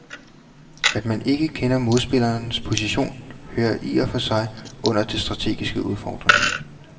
At man ikke kender modspillerens position hører i og for sig under den strategiske udfordring.